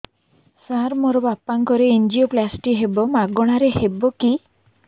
ସାର ମୋର ବାପାଙ୍କର ଏନଜିଓପ୍ଳାସଟି ହେବ ମାଗଣା ରେ ହେବ କି